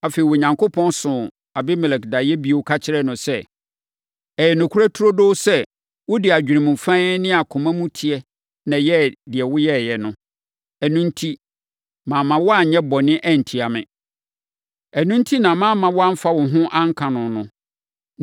Afei, Onyankopɔn soo Abimelek daeɛ bio ka kyerɛɛ no sɛ, “Ɛyɛ nokorɛ turodoo sɛ, wode adwenem fann ne akoma mu teɛ na ɛyɛɛ deɛ woyɛeɛ no; ɛno enti, mamma woanyɛ bɔne antia me. Ɛno enti na mamma woamfa wo ho anka no no.